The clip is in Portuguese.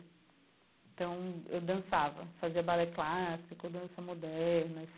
Então eu dançava, fazia balé clássico, dança moderna.